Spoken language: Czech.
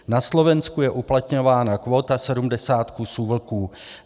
Na Slovensku je uplatňována kvóta 70 kusů vlků.